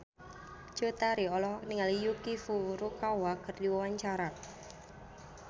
Cut Tari olohok ningali Yuki Furukawa keur diwawancara